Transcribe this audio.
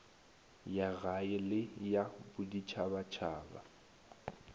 ya gae le ya boditšhabatšhaba